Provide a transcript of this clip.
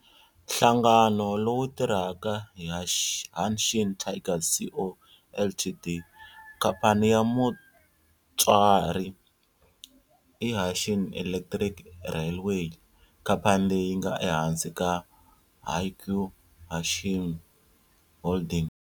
Nhlangano lowu tirhaka i Hanshin Tigers Co., Ltd. Khamphani ya mutswari i Hanshin Electric Railway, khamphani leyi nga ehansi ka Hankyu Hanshin Holdings